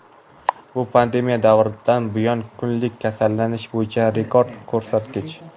Bu pandemiya davridan buyon kunlik kasallanish bo‘yicha rekord ko‘rsatkich.